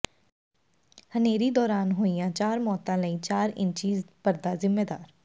ਹਨੇਰੀ ਦੌਰਾਨ ਹੋਈਆਂ ਚਾਰ ਮੌਤਾਂ ਲਈ ਚਾਰ ਇੰਚੀ ਪਰਦਾ ਜ਼ਿੰਮੇਦਾਰ